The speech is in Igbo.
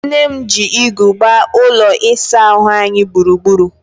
Nne m ji igu gbaa ụlọ isaahụ anyị gburugburu.